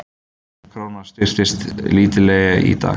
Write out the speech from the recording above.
Krónan styrktist lítillega í dag